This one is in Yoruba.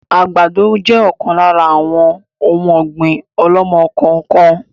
Àgbàdo jẹ ọ̀kan lára àwọn òun ọ̀gbín ọ̀lọ́mọ-kọọ-kan